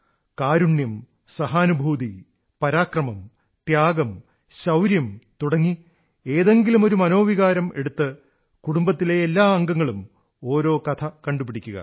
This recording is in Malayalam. കാരുണ്യം സഹാനുഭൂതി പരാക്രമം ത്യാഗം ശൌര്യം തുടങ്ങി ഏതെങ്കിലുമൊരു മനോവികാരം എടുത്ത് കുടുംബത്തിലെ എല്ലാ അംഗങ്ങളും ഓരോ കഥ കണ്ടുപിടിക്കുക